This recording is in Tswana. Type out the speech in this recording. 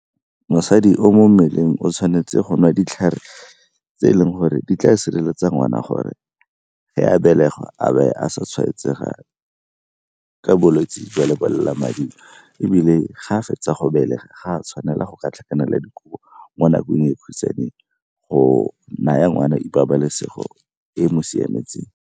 Mosadi o mo mmeleng o tshwanetse go nwa ditlhare tse e leng gore di tla sireletsa ngwana gore ge a belegwa a a sa tshwaetsega jang ka bolwetsi jwa lebolelamading, ebile ga a fetsa go belega ga a tshwanela go ka tlhakanela dikobo mo nakong e go naya ngwana pabalesego e e mo siametseng.